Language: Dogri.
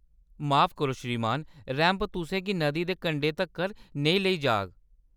माफ करो, श्रीमान। रैंप तु'सें गी नदी दे कंढै तक्कर नेईं लेई जाग।